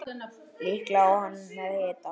Líklega er hann með hita.